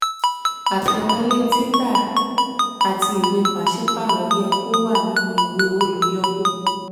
àtẹ̀wọlé um títà àti um ìwée pàṣípààrọ̀ yẹ kó um wà nínú ìwé olùyọwó